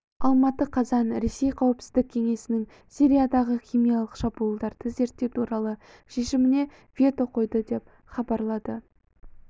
алматы қазан ресей қауіпсіздік кеңесінің сириядағы химиялық шабуылдарды зерттеу туралы шешіміне вето қойды деп хабарлады